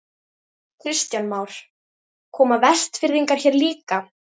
Kristján Már: Koma Vestfirðingar hér líka?